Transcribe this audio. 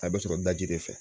A bɛ sɔrɔ daji de fɛ